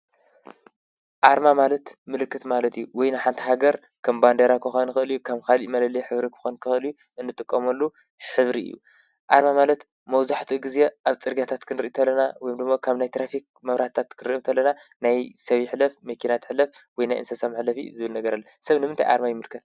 ኣርማ ማለት ምልክት ማለት እዩ። ወይ ንሓንቲ ሃገር ከም ባንዴራ ክኮና ይክእል እዩ። ከም ካሊእ መለለይ ሕብሪ ክኮን ይክእል እዩ፥ እንጥቀመሉ ሕብሪ እዩ። ኣርማ ማለት መብዛሕቲኡ ግዜ ኣብ ጽርግያታት ክንሪ ተለና ወይም ደሞ ካብ ናይ ትራፊክ መብራህትታት ክንሪ ከለና ናይ ሰብ ይሕለፍ መኪና ትሕልፍ ወይ ናይ እንስሳ ምሕለፊ ዝብል ነገር ኣለዎ። ሰብ ንምንታይ ኣርማ ይምልከት?